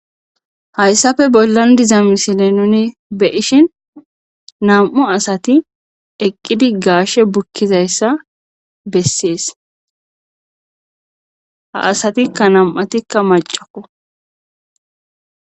hayssafe bollan diza misile nuni be'ishin nam7u asati eqqidi gaashe bukkizayssa bessees ha asatikka nam7atikka macakko